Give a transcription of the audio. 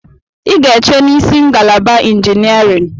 I ga-eche n'isi ngalaba injiniarịn!